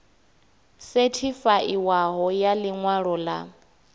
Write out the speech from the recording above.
sethifaiwaho ya ḽi ṅwalo ḽa